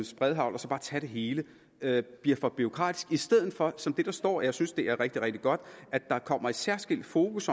spredehagl og så tage det hele med bliver for bureaukratisk i stedet for gør som der står og jeg synes det er rigtig rigtig godt at der kommer et særskilt fokus